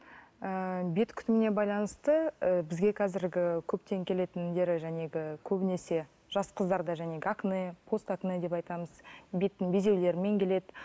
ыыы бет күтіміне байланысты і бізге қазіргі көптен келетіндер көбінесе жас қыздарда акне пост акне деп айтамыз беттің безеулерімен келеді